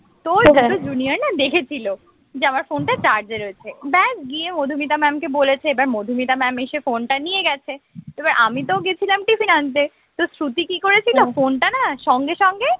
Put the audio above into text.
তো একটা junior না দেখেছিল যে আমার phone টা charge রয়েছে ব্যস গিয়ে মধুমিতা mam কে বলেছে এবার মধুমিতা mam এসে phone টা নিয়ে গেছে এবার আমিতো গেছিলাম tiffin আনতে তো শ্রুতি কি করেছিল phone টা না সঙ্গে সঙ্গে